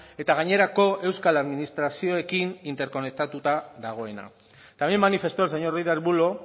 eta gainerako euskal administrazioekin interkonektatuta dagoena también manifestó el señor ruiz de arbulo